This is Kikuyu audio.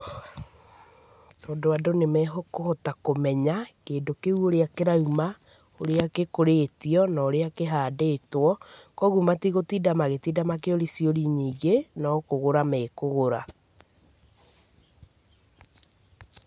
Tondũ andũ nĩ mekũhota kũmenya kĩndũ kĩu ũrĩa kĩrauma, ũrĩa gĩkũrĩtio na ũrĩa kĩhandĩtwo, koguo matigũtinda magĩtinda makĩũri ciũri nyingĩ, no kũgũra mekũgũra.